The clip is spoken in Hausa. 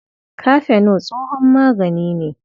Kafeno tsohon magani ne.